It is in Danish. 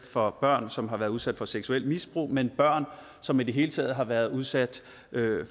for børn som har været udsat for seksuelt misbrug men børn som i det hele taget har været udsat